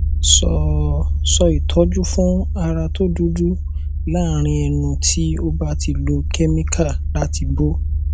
so so itoju fun ara to dudu larin enu ti o ba ti lo chemical lati bo